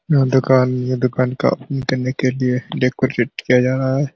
यह दुकान ये दुकान का करने के लिए डेकरैट किया जा रहा है।